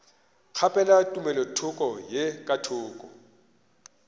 kgaphela tumelothoko ye ka thoko